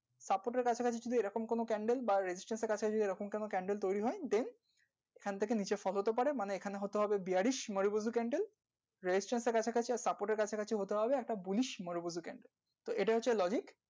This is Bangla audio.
candle তৈরি হচ্ছে এটা হতেও পারে নাও হতে পারে restriction, architecture আর support, architecture বিশেষত সমান